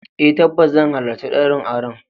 Eh tabbas zan halarci daurin auren.